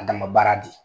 A dama baara de ye